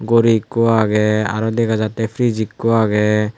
ghori ekku agey aro dega jatte fridge ekku agey.